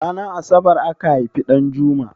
Ranar asabar aka haifi Ɗanjuma?